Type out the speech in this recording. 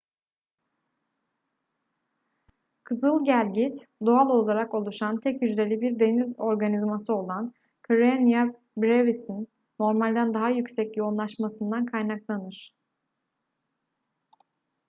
kızıl gelgit doğal olarak oluşan tek hücreli bir deniz organizması olan karenia brevis'in normalden daha yüksek yoğunlaşmasından kaynaklanır